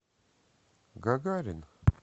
гагарин